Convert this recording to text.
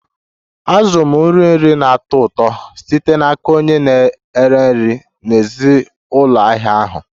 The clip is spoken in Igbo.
Azụrụ m nri nri na-atọ ụtọ site n'aka onye na-ere nri n'èzí ụlọ ahịa ahụ